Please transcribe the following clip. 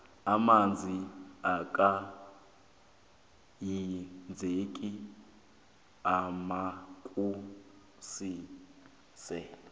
amanzi angaka hinzeki ayagulise